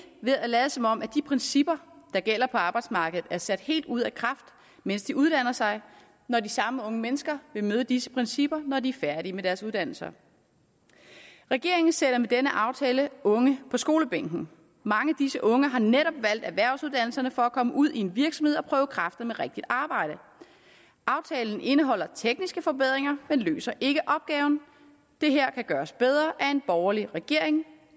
ved at lade som om de principper der gælder på arbejdsmarkedet er sat helt ud af kraft mens de uddanner sig når de samme unge mennesker vil møde disse principper når de er færdige med deres uddannelser regeringen sætter med denne aftale unge på skolebænken mange af disse unge har netop valgt erhvervsuddannelserne for komme ud i en virksomhed og prøve kræfter med rigtigt arbejde aftalen indeholder tekniske forbedringer men løser ikke opgaven det her kan gøres bedre af en borgerlig regering